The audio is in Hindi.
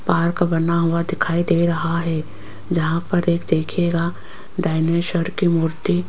पार्क बना हुआ दिखाई दे रहा है जहां पर एक देखिएगा डायनासोर की मूर्ति --